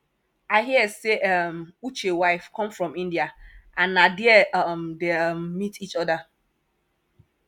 i hear say um uche wife come from india and na there um dey um meet each other